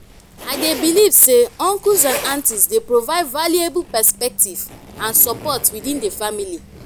i dey believe say uncles and aunties dey provide valuable perspective and support within the family.